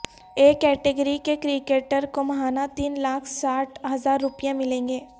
اے category کے cricketer کو ماہانہ تین لاکھ ساٹھ ہزار روپے ملیں گے